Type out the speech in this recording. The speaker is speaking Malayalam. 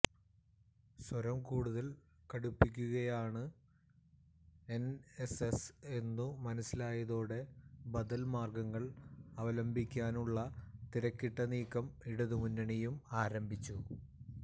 സ്വരം കൂടുതൽ കടുപ്പിക്കുകയാണ് എൻഎസ്എസ് എന്നു മനസ്സിലായതോടെ ബദൽമാർഗങ്ങൾ അവലംബിക്കാനുള്ള തിരക്കിട്ട നീക്കം ഇടതുമുന്നണിയും ആരംഭിച്ചു